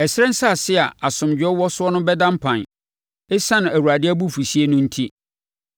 Ɛserɛ nsase a asomdwoeɛ wɔ soɔ no bɛda mpan ɛsiane Awurade abufuhyeɛ no enti.